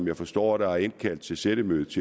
jeg forstår at der er indkaldt til sættemøde